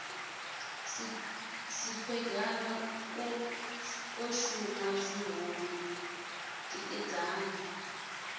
siphegana o shunwa zwihulu tikedzani